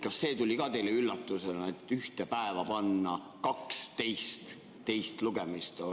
Kas see tuli ka teile üllatusena, et ühte päeva pandi 12 teist lugemist?